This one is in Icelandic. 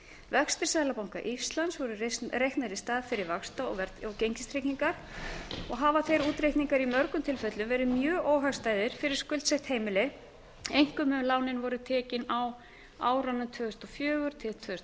vextir seðlabanka íslands voru reiknaðir í stað fyrri vaxta og gengistryggingar og hafa þeir útreikningar í mörgum tilfellum verið mjög óhagstæðir fyrir skuldsett heimili einkum ef lánin voru tekin á árunum tvö þúsund og fjögur til tvö þúsund og